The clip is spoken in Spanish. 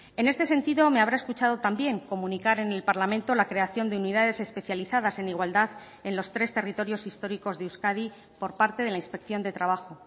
en este sentido me habrá escuchado también comunicar en el parlamento la creación de unidades especializadas en igualdad en los tres territorios históricos de euskadi por parte de la inspección de trabajo